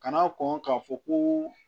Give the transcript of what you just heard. Kan'a kɔn k'a fɔ ko